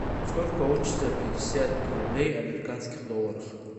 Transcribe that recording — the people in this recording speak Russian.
сколько получится пятьдесят рублей в американских долларах